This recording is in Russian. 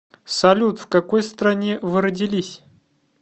салют в какой стране вы родились